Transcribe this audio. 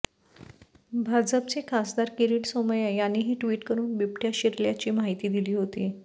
भाजपचे खासदार किरीट सोमय्या यांनीही ट्विट करुन बिबटय़ा शिरल्याची माहिती दिली होती